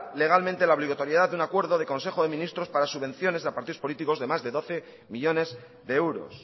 legalmente la obligatoriedad de un acuerdo del consejo de ministros para subvenciones a partidos políticos de más de doce millónes de euros